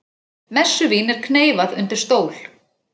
Messuvín er kneyfað undir stól